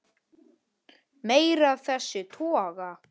Meira af þessum toga.